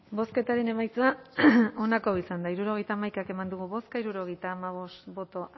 bozketaren emaitza onako izan da hirurogeita hamaika eman dugu bozka hirurogeita hamabost boto